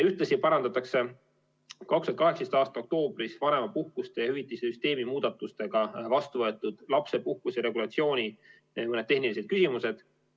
Ühtlasi parandatakse 2018. aasta oktoobris vanemapuhkuste ja ‑hüvitiste süsteemi muudatustega vastu võetud lapsepuhkuse regulatsiooni mõned tehnilised küsimused.